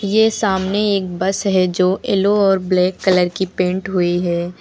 ये सामने एक बस है जो येलो और ब्लैक कलर की पेंट हुई है।